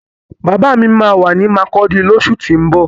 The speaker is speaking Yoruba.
Bàbá mi máa wà ní makurdi lósù tín bọ̀